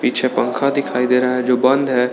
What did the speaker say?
पीछे पंखा दिखाई दे रहा है जो बंद है।